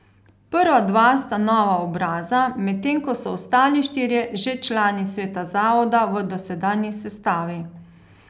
Prva dva sta nova obraza, medtem ko so ostali štirje že člani sveta zavoda v dosedanji sestavi.